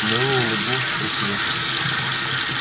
мэллоу улыбнулся про себя